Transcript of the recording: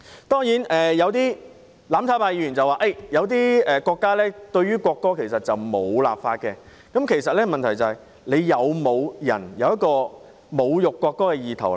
當然，有些"攬炒派"議員說某些國家也沒有就國歌立法，但問題在於是否有人有侮辱國歌的意圖。